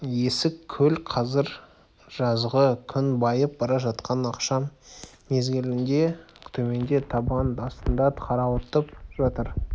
есік көл қазір жазғы күн байып бара жатқан ақшам мезгілінде төменде табан астында қарауытып жатыр